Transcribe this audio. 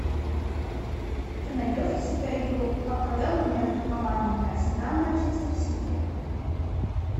ты найдешь у себя игру апл между командами арсенал манчестер сити